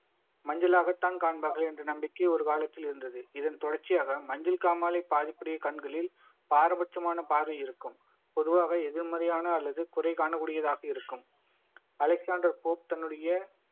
மஞ்சளாகத்தான் காண்பார்கள் என்ற நம்பிக்கை ஒரு காலத்தில் இருந்தது இதன் தொடர்ச்சியாக மஞ்சள் காமாலை பாதிப்புடைய கண்களில் பாரபட்சமான பார்வை இருக்கும் பொதுவாக எதிர்மறையான அல்லது குறை காணக்கூடியதாக இருக்கும் அலெக்சாண்டர் போப் தன்னுடைய